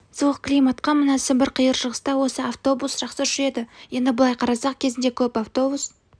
суық климатқа мына сібір қиыр шығыста осы автобус жақсы жүреді енді былай қарасақ кезінде көп автобус